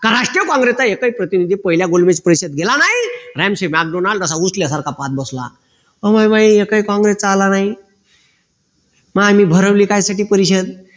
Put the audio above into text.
राष्ट्रीय काँग्रेस चा एकही प्रतिनिधी पहिल्या गोलबेज परीक्षेत गेला नाही पाहत बसला एकही काँग्रेस चा आला नाही मग आम्ही भरवली कशासाठी परिषद